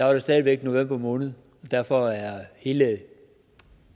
var det stadig væk november måned og derfor er hele